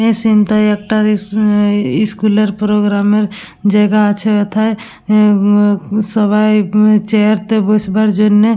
এই সিন তো একটা ইস্কুলের স্কুল প্রোগ্রাম এর জায়গা আছে কোথায় সবাই চেয়ারটায় বসবার জন্য--